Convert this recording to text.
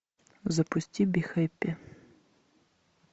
запусти би хэппи